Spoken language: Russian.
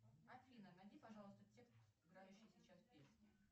афина найди пожалуйста текст играющей сейчас песни